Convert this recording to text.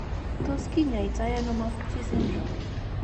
Tos kinyaii to ano Maffucci syndrome ?